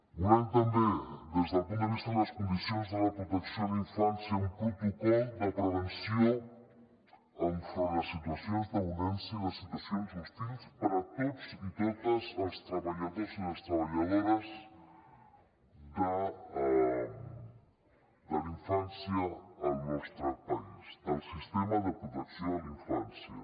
volem també des del punt de vista de les condicions de la protecció a la infància un protocol de prevenció enfront les situacions de violència i les situacions hostils per a tots i totes els treballadors i les treballadores de la infància al nostre país del sistema de protecció a la infància